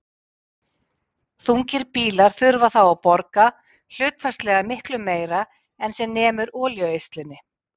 Þungir bílar þurfa þá að borga hlutfallslega miklu meira en sem nemur olíueyðslunni.